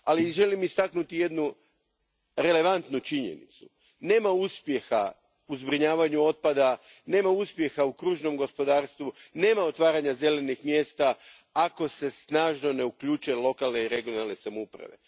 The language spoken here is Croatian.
Želim istaknuti jednu relevantnu činjenicu nema uspjeha u zbrinjavanju otpada, nema uspjeha u kružnom gospodarstvu, nema otvaranja zelenih mjesta, ako se snažno ne uključe lokalne i regionalne samouprave.